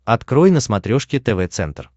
открой на смотрешке тв центр